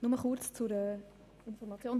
Nur kurz zur Information.